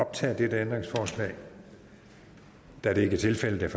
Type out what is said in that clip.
optage dette ændringsforslag da det ikke er tilfældet er